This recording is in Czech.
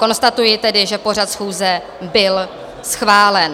Konstatuji tedy, že pořad schůze byl schválen.